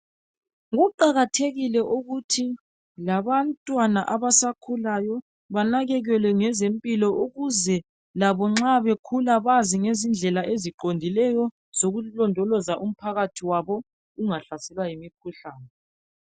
Kuqakathekile ukuthi labantwana abasakhulayo banakekelwe ngezempilo ukuze labo nxa bekhula bazi ngendlela eziqondileyo sokulondoloza umphakathi wabo ungahlaselwa yimikhuhlane